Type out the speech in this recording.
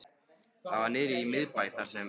Það var niðri í miðbæ, þar sem